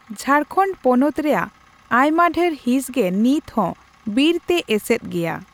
ᱡᱷᱟᱲᱠᱷᱚᱸᱰ ᱯᱚᱱᱚᱛ ᱨᱮᱭᱟᱜ ᱟᱭᱢᱟᱰᱷᱮᱨ ᱦᱤᱸᱥᱜᱮ ᱱᱤᱛᱦᱚᱸ ᱵᱤᱨ ᱛᱮ ᱮᱥᱮᱫ ᱜᱮᱭᱟ ᱾